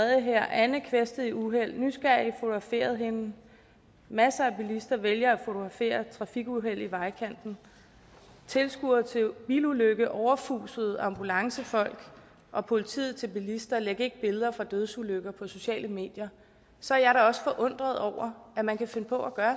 anne kvæstet i uheld nysgerrige fotograferede hende masser af bilister vælger at fotografere trafikuheld i vejkanten og tilskuere til bilulykke overfusede ambulancefolk og politiet til bilister læg ikke billeder fra dødsulykker på sociale medier så er jeg da også forundret over at man kan finde på at